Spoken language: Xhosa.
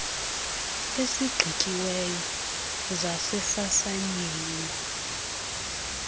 esigqityiweyo saze sasayinwa